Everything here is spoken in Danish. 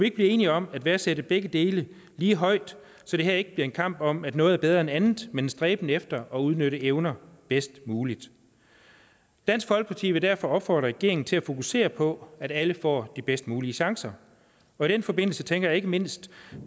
ikke blive enige om at værdsætte begge dele lige højt så det her ikke bliver en kamp om at noget er bedre end andet men en stræben efter at udnytte evner bedst muligt dansk folkeparti vil derfor opfordre regeringen til at fokusere på at alle får de bedst mulige chancer og i den forbindelse tænker jeg ikke mindst